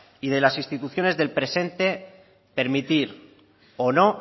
y de las instituciones del presente permitir o no